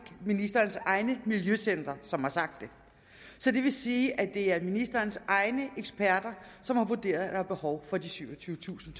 ministerens egne miljøcentre som har sagt det det vil sige at det er ministerens egne eksperter som har vurderet at der er behov for de syvogtyvetusind